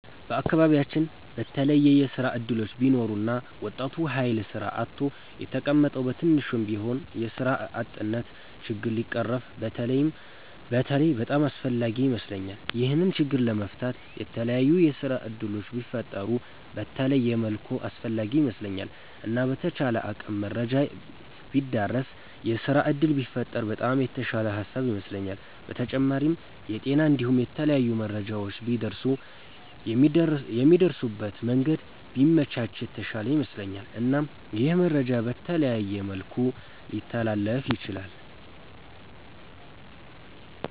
በአከባቢያቺን በተለየ የስራ እድሎች ቢኖሩ እና ወጣቱ ሀይል ስራ አጥቶ የተቀመጠዉ በትንሹም ቢሆን የስራ አጥነቱ ችግር ቢቀረፍ በተለይ በጣም አስፍላጊ ይመስለኛል። ይሄንን ችግር ለመፍታት የተላያዩ የስራ እድሎች ቢፈጠሩ በተለየ መልኩ አስፈላጊ ይመስለኛል። እና በተቻለ አቅም መረጃ ቢዳረስ የስራ እድል ቢፈጠር በጣም የተሻለ ሃሳብ ይመስለኛል። በተጫማሪም የጤና እንዲሁም የተለያዩ መረጃዎች ቢደርሱ የሚደርሱበት መንገድ ቢመቻች የተሻለ ይመስለኛል። እናም ይህ መረጃ በተለያየ መልኩ ሊተላለፍ ይችላል።